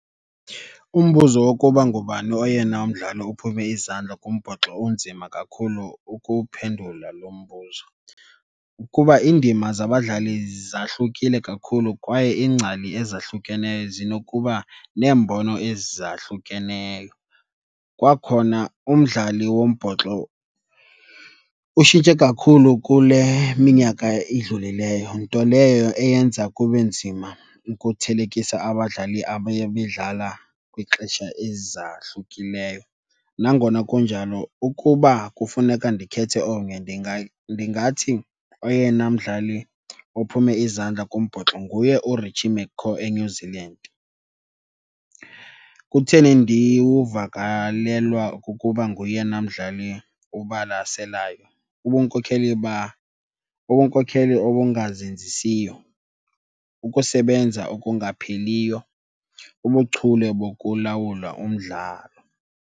Umbuzo wokuba ngubani oyena mdlali uphume izandla kumbhoxo unzima kakhulu ukuwuphendula lo mbuzo, kuba iindima zabadlali zahlukile kakhulu kwaye iingcali ezahlukeneyo zinokuba neembono ezahlukeneyo. Kwakhona, umdlali wombhoxo utshintshe kakhulu kule minyaka idlulileyo, nto leyo eyenza kube nzima ukuthelekisa abadlali abeye bedlala kwixesha ezahlukileyo. Nangona kunjalo, ukuba kufuneka ndikhethe omnye, ndingathi oyena mdlali ophume izandla kumbhoxo nguye uRichie McCaw eNew Zealand. Kutheni ndiwuvakalelwa kukuba ngoyena mdlali ubalaselayo? Ubunkokheli , ubunkokheli obungazenzisiyo, ukusebenza okungapheliyo, ubuchule bokulawula umdlalo.